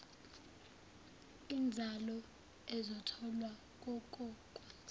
inzalo ezotholwa kokokwenza